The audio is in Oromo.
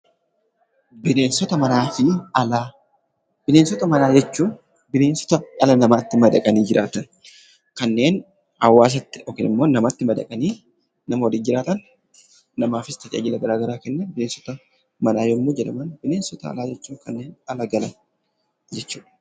Bineensota manaa fi alaa. Bineensota manaa jechuun bineensota dhala namaatti madaqanii jiraatan, kanneen hawaasatti yokin immoo namatti madaqanii nama waliin jiraatan, namaafis tajaajila garagaraa kennan bineensota manaa yemmuu jedhaman bineensota alaa jechuun kanneen ala galan jechuudha.